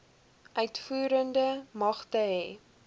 uitvoerende magte hê